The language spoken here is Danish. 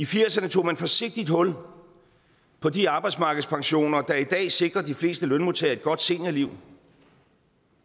firs ’erne tog man forsigtigt hul på de arbejdsmarkedspensioner der i dag sikrer de fleste lønmodtagere et godt seniorliv